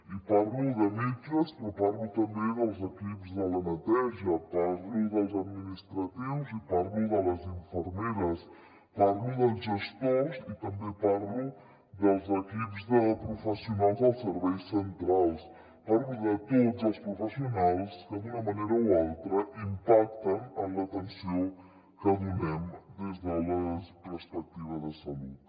i parlo de metges però parlo també dels equips de la neteja parlo dels administratius i parlo de les infermeres parlo dels gestors i també parlo dels equips de professionals dels serveis centrals parlo de tots els professionals que d’una manera o altra impacten en l’atenció que donem des de la perspectiva de salut